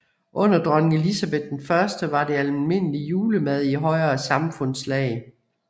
Under dronning Elisabet I var det almindelig julemad i højere samfundslag